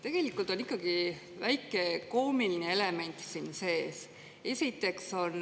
Tegelikult on ikkagi väike koomiline element siin sees.